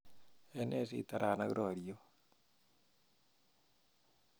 Ene sitaran ak roryot